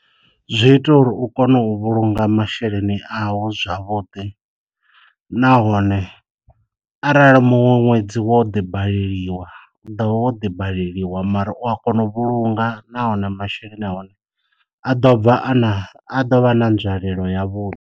Zwi ita uri u kone u vhulunga masheleni a u zwavhuḓi, nahone arali muṅwe ṅwedzi wo ḓi baleliwa u ḓo ḓi baleliwa mara u a kona u vhulunga nahone masheleni a hone a ḓo bva a na a ḓo vha na nzwalelo ya vhuḓi.